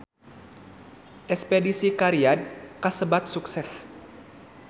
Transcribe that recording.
Espedisi ka Riyadh kasebat sukses